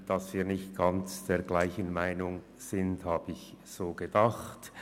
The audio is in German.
Dass wir nicht alle derselben Meinung sind, habe ich mir so gedacht.